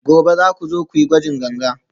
gobe za ku zo ku yi gwajin ganga?